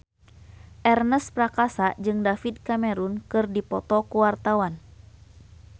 Ernest Prakasa jeung David Cameron keur dipoto ku wartawan